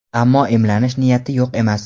Ammo emlanish niyati yo‘q emas.